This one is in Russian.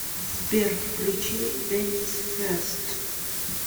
сбер включи денис фест